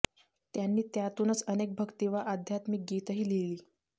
त्यांनी त्यातूनच अनेक भक्ती वा आध्यात्म गीतही लिहिली